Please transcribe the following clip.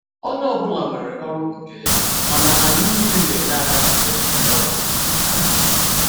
Onye ọ bụla nwere ọrụ nke ya, mana anyị niile n'enye aka mgbe ndị ọbịa n'abịa.